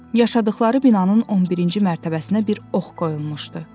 Yaşadıqları binanın 11-ci mərtəbəsinə bir ox qoyulmuşdu.